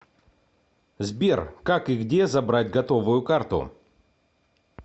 сбер как и где забрать готовую карту